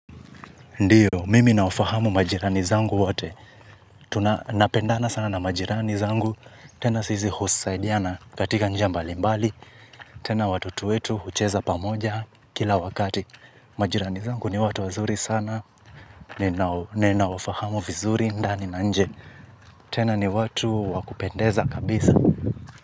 Ndiyo, mimi nawafahamu majirani zangu wote, tunapendana sana na majirani zangu, tena sisi husaidiana katika njia mbali mbali, tena watoto wetu hucheza pamoja kila wakati. Majirani zangu ni watu wazuri sana, ninawafahamu vizuri ndani na nje, tena ni watu wakupendeza kabisa.